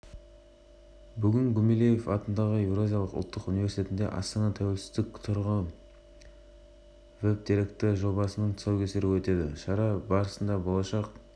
бұдан бөлек салафизм ағымын ұстанған қылмыстық топтың мүшелері де ұсталды олар мұнай ұрлаумен айналысқан азаматтарға көмек